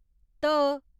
ध